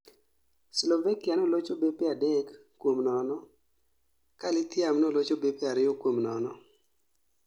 Slovakia nolocho bepe adek kuom nono ka Lithium nolocho bepe ariyo kuom nono